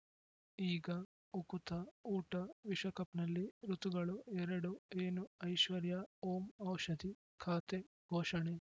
ಈಗ ಉಕುತ ಊಟ ವಿಶ್ವಕಪ್‌ನಲ್ಲಿ ಋತುಗಳು ಎರಡು ಏನು ಐಶ್ವರ್ಯಾ ಓಂ ಔಷಧಿ ಖಾತೆ ಘೋಷಣೆ